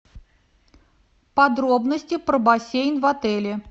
подробности про бассейн в отеле